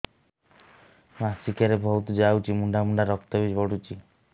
ମାସିକିଆ ରେ ବହୁତ ଯାଉଛି ମୁଣ୍ଡା ମୁଣ୍ଡା ରକ୍ତ ବି ପଡୁଛି